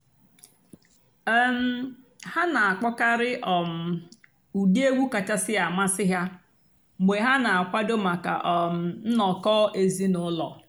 um há nà-àkpọ́kàrị́ um ụ́dị́ ègwú kàchàsị́ àmásị́ há mg̀bé há nà-àkwàdó màkà um ǹnọ́kọ̀ èzínụ́lọ́.